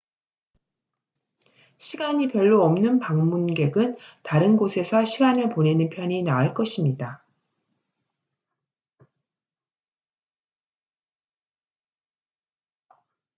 시간이 별로 없는 방문객은 다른 곳에서 시간을 보내는 편이 나을 것입니다